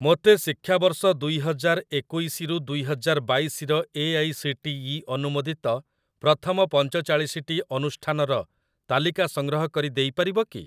ମୋତେ ଶିକ୍ଷାବର୍ଷ ଦୁଇ ହଜାର ଏକୋଇଶି ରୁ ଦୁଇ ହଜାର ବାଇଶି ର ଏଆଇସିଟିଇ ଅନୁମୋଦିତ ପ୍ରଥମ ପଞ୍ଚଚାଳିଶି ଟି ଅନୁଷ୍ଠାନର ତାଲିକା ସଂଗ୍ରହ କରି ଦେଇପାରିବ କି ?